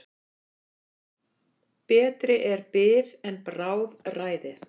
Betri er bið en bráðræði.